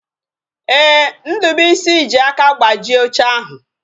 Ee, Ndubuisi ji aka gbajie oche ahụ